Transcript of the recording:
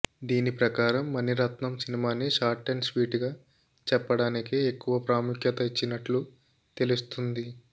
దీని ప్రకారం మణిరత్నం సినిమాని షార్ట్ అండ్ స్వీట్ గా చెప్పడానికే ఎక్కువ ప్రాముఖ్యత ఇచ్చినట్లు తెలుస్తుంది